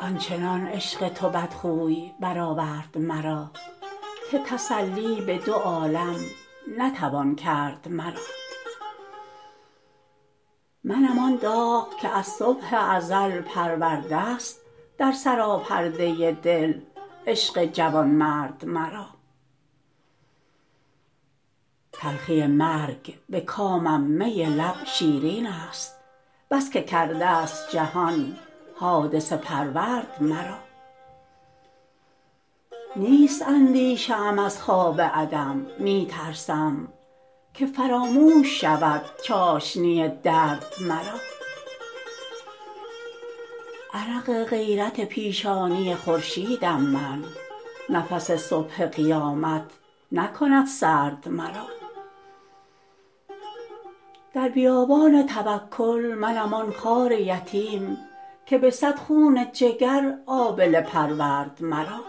آنچنان عشق تو بدخوی برآورد مرا که تسلی به دو عالم نتوان کرد مرا منم آن داغ که از صبح ازل پرورده است در سراپرده دل عشق جوانمرد مرا تلخی مرگ به کامم می لب شیرین است بس که کرده است جهان حادثه پرورد مرا نیست اندیشه ام از خواب عدم می ترسم که فراموش شود چاشنی درد مرا عرق غیرت پیشانی خورشیدم من نفس صبح قیامت نکند سرد مرا در بیابان توکل منم آن خار یتیم که به صد خون جگر آبله پرورد مرا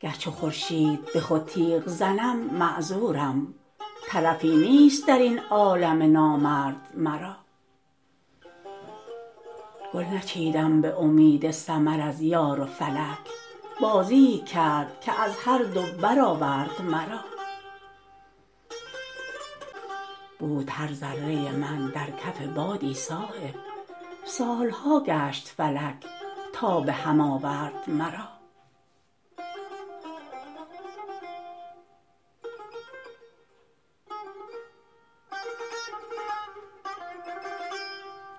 گر چو خورشید به خود تیغ زنم معذورم طرفی نیست درین عالم نامرد مرا گل نچیدم به امید ثمر از یار و فلک بازیی کرد که از هر دو برآورد مرا بود هر ذره من در کف بادی صایب سالها گشت فلک تا به هم آورد مرا